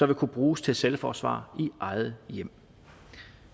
vil kunne bruges til selvforsvar i eget hjem